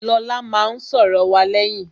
Lọlá máa n sòrò wa léyìn